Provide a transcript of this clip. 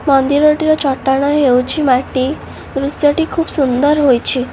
ମନ୍ଦିରଟିର ଚଟାଣ ହେଉଛି ମାଟି ଦୃଶ୍ୟଟି ଖୁବ୍ ସୁନ୍ଦର ହୋଇଛି।